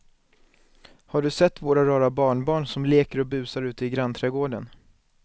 Har du sett våra rara barnbarn som leker och busar ute i grannträdgården!